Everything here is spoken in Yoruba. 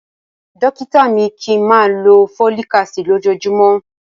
Dókítà mi ní kí ń máa lọ Folic Acid lójojúmọ́.